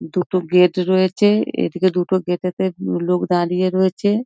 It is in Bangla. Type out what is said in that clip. দুটো গেট রয়েছে এদিকে দুটো গেট -এতে লোক দাঁড়িয়ে রয়েছে।